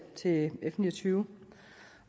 til f ni og tyve